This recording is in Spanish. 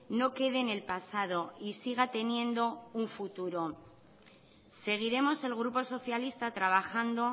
no quede en el pasado y siga teniendo un futuro seguiremos el grupo socialista trabajando